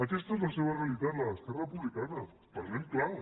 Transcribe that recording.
aquesta és la seva realitat la d’esquerra republicana parlem clar